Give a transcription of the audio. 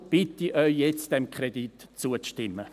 Deshalb bitte ich Sie jetzt, diesem Kredit zuzustimmen.